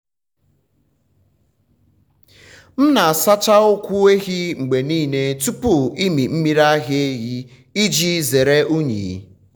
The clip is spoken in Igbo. m na-asacha ụkwụ ehi mgbe niile tupu ịmị um mmiri ara iji um zere unyi.